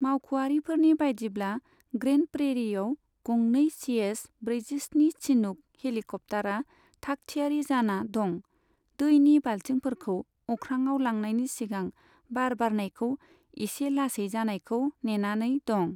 मावख'आरिफोरनि बायदिब्ला, ग्रेन्ड प्रेरिआव गंनै सिएच ब्रैजिस्नि चिनुक हेलिकप्टारा थाखथियारि जाना दं, दैनि बाल्थिंफोरखौ अख्राङाव लांनायनि सिगां बार बारनायखौ इसे लासै जानायखौ नेनानै दं।